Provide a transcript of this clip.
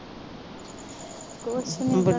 ਕੁਛ ਨਹੀਂ ਕਰਨਾ